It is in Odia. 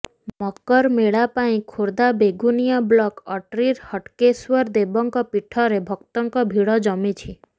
ମକର ମେଳା ପାଇଁ ଖୋର୍ଦ୍ଧା ବେଗୁନିଆ ବ୍ଲକ ଅଟ୍ରିର ହଟ୍ଟକେଶ୍ୱର ଦେବଙ୍କ ପୀଠରେ ଭକ୍ତଙ୍କ ଭିଡ ଜମିଛି